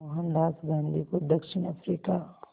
मोहनदास गांधी को दक्षिण अफ्रीका